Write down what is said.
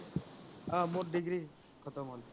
অহ মোৰ degree খতম হ'ল